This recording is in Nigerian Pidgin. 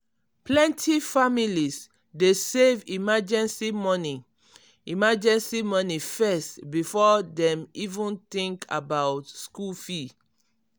plenty families dey save emergency money emergency money first before dem even think about school fee.